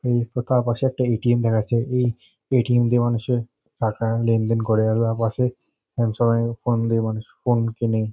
এই ফাকা পাশে একটা এ.টি.এম. দেখা যাচ্ছে। এই এ.টি.এম. দিয়ে মানুষে টাকা লেনদেন করা। পাশে ফোন কেনে।